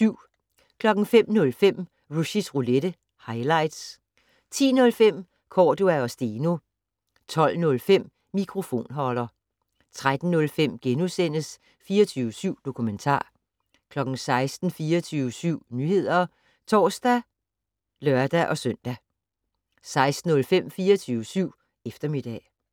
05:05: Rushys Roulette - highlights 10:05: Cordua & Steno 12:05: Mikrofonholder 13:05: 24syv Dokumentar * 16:00: 24syv Nyheder (tor og lør-søn) 16:05: 24syv Eftermiddag